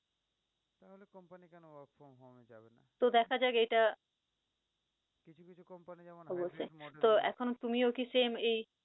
তো দেখা যাক এইটা। অবশ্যই তো এখন তুমিও কি same এই